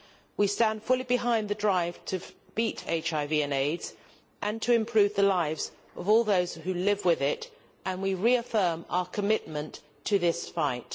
We stand fully behind the drive to beat HIV and AIDS and to improve the lives of all those who live with it, and we reaffirm our commitment to this fight.